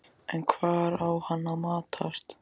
En hvar á hann að matast?